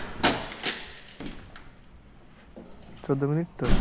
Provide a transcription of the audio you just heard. চোদ্দ মিনিট তো